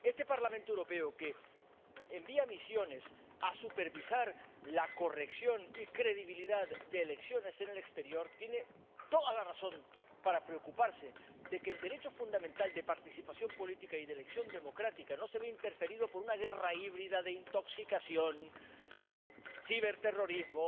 Este Parlamento Europeo, que envía misiones a supervisar la corrección y credibilidad de elecciones en el exterior, tiene toda la razón para preocuparse de que el derecho fundamental de participación política y de elección democrática no se vea interferido por una guerra híbrida de intoxicación, ciberterrorismo,